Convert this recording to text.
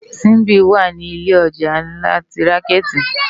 Simbi wá ni ilé òjá nlá ti rànkèti